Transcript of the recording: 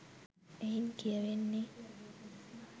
එයින් කියැවෙන්නේ